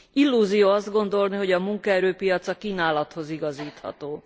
Illúzió azt gondolni, hogy a munkaerőpiac a kínálathoz igazítható.